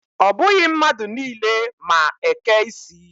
Ọ bụghị mmadụ niile ma eke isi.